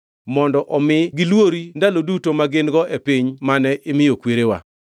mondo omi gilwori ndalogi duto ma gin-go e piny mane imiyo kwerewa.